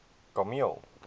kameel